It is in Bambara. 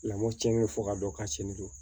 Lamɔ tiɲɛnen fɔ ka dɔn k'a sen don